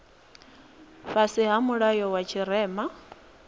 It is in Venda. fhasi ha mulayo wa tshirema